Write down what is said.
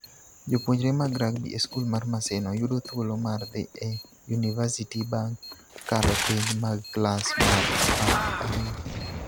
Jopuonjre mag rugby e skul mar Maseno yudo thuolo mar dhi e yunivasiti bang ' kalo penj mag klas mar apar gi ariyo.